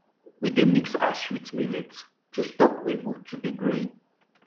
we dey mix ash with millet to stop weevil to dey growing